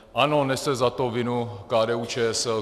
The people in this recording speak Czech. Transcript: Ano, nese za to vinu KDU-ČSL.